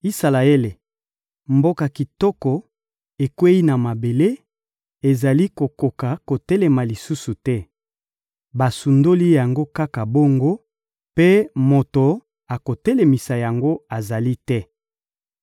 «Isalaele, mboka kitoko, ekweyi na mabele, ezali kokoka kotelema lisusu te! Basundoli yango kaka bongo, mpe moto akotelemisa yango azali te.»